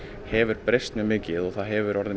hefur breyst mjög mikið og það hefur orðið